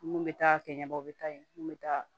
Mun bɛ taa kɛɲɛ bɔ u bɛ taa yen mun bɛ taa